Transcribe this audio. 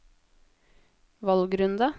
valgrunde